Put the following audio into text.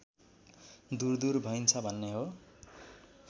दुरदुर भइन्छ भन्ने हो